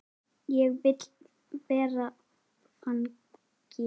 Ég vil vera þannig.